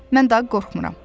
Mən daha qorxmuram.